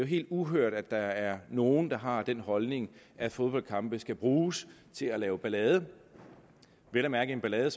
helt uhørt at der er nogle der har den holdning at fodboldkampe skal bruges til at lave ballade vel at mærke en ballade